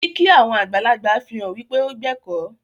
Kìkì àwọn àgbàlagbà fihàn wípe o gbẹ̀kọ́.